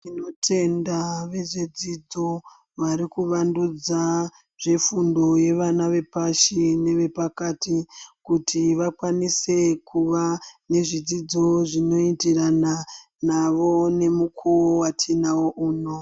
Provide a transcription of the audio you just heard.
Ndiinotenda vezvedzidzo vari kuvandudza zvefundo yevana vepashi nevana vepakati kuti vakwanise kuva nezvidzidzo zvinoenderana navo nemukuwo watinawo uno.